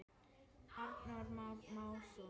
Arnór Már Másson.